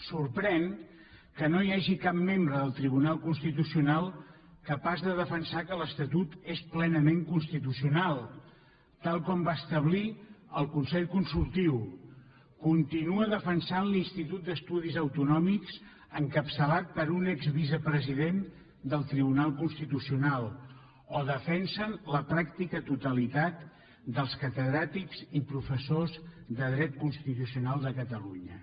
sorprèn que no hi hagi cap membre del tribunal constitucional capaç de defensar que l’estatut és plenament constitucional tal com va establir el consell consultiu continua defensant l’institut d’estudis autonòmics encapçalat per un exvicepresident del tribunal constitucional o defensen la pràctica totalitat dels catedràtics i professors de dret constitucional de catalunya